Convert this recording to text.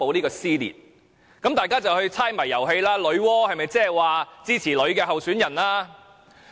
於是大家便開始猜謎遊戲，揣測女媧是否指支持女性候選人。